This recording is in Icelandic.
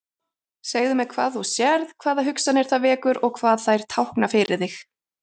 Þetta er aðeins sýnishorn af fjórkvæðum eiginnöfnum.